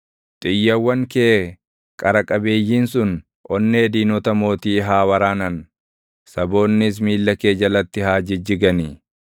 Xiyyawwan kee qara qabeeyyiin sun onnee diinota mootii haa waraanan; saboonnis miilla kee jalatti haa jijjiganii.